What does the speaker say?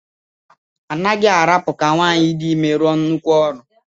A naghị arapụ ka nwaanyị dị ime rụọ nnukwu ọrụ.